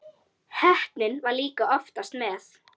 Heppnin var líka oftast með.